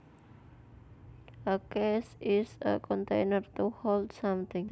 A case is a container to hold something